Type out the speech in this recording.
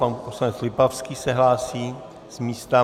Pan poslanec Lipavský se hlásí z místa.